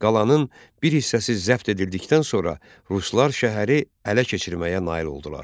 Qalanın bir hissəsi zəbt edildikdən sonra ruslar şəhəri ələ keçirməyə nail oldular.